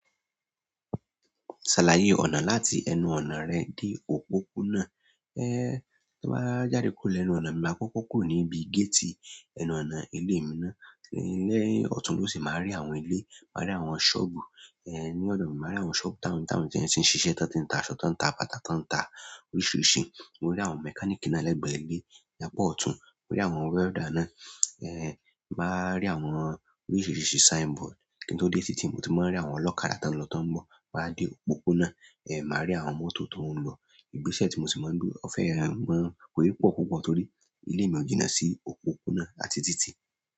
Ṣàlàyé ọ̀nà láti ẹnu ọ̀nà rẹ dé òpópónà. Ẹ n tí mo bá jáde kúrò lẹ́nu ọ̀nà mi máa kọ́kọ́ kù níbi géètì ẹnu ọ̀nà ilé mi ná. Ní ọ̀tún lósì màá rí àwọn ilé, màá rí àwọn ṣọ́ọ̀bù ìyẹn ni ọdọ mi màá rí àwọn ṣọ́ọ̀bù táwọn táwọn tí n siṣẹ́ tán tí ta sọ tán ń ta bàtà tán ń ta oríṣiríṣi. Ó ní àwọn mechanic náà lẹ́gbẹ̀ ilé lápá ọ̀tún. Mo rí àwọn welder náà. Màá rí àwọn oríṣiríṣi sign board. Kíni tó dé títí mo ti máa rí àwọn ọlọ́kadà tó ń lọ tó ń bọ̀. Máa dé òpópónà màá rí àwọn mọ́tò tó ń lọ. Igbésẹ̀ tí mo sì máa ń dúró fẹ́rẹ̀ẹ́ mọ́ ọ̀ pọ̀ púpọ̀ torí ilé mi ò jìnà sí òpópónà àti títì.